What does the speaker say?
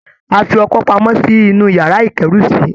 A fi ọkọ́ pamọ́ sí inú iyàrá ìkẹ́rù sí